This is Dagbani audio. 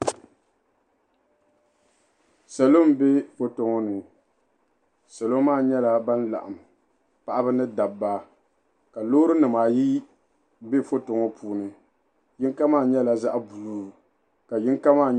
Salo m-be foto ŋɔ ni. Salo maa nyɛla ban laɣim paɣiba ni dabba ka loorinima ayi be foto ŋɔ puuni. Yiŋga maa nyɛla zaɣ' buluu.